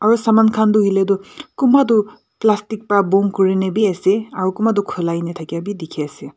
aru saman khan toh hoiley toh kunba toh plastic para bon kurina bi ase aru kunba toh khulai na thaka vi dekhi ase.